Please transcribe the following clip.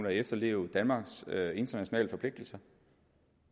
at efterleve danmarks internationale forpligtelser